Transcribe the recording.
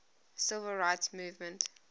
civil rights movement